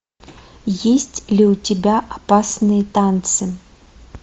есть ли у тебя опасные танцы